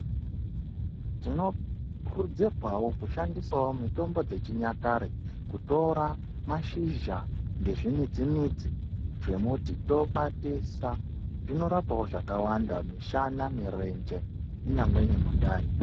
Tinokurudzirwawo kushandisa mutombo dzechinyakare. Kutora mashizha nezvimidzi-midzi zvemuti tokwatisa. Zviinorapawo zvakawanda, mishana, mirenje kunyangwe nemundani.